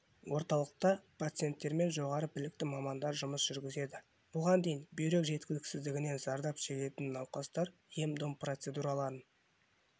орталықта пациенттермен жоғары білікті мамандар жұмыс жүргізеді бұған дейін бүйрек жеткіліксіздігінен зардап шегетін науқастар ем-дом процедураларын